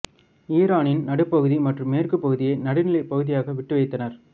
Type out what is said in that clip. ஈரானின் நடுப்பகுதி மற்றும் மேற்கு பகுதியை நடுநிலைப் பகுதியாக விட்டு வைத்தனர்